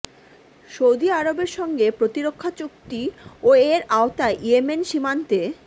Saudi আরবের সঙ্গে প্রতিরক্ষা চুক্তি ও এর আওতায় ইয়েমেন সীমান্তে